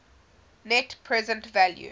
net present value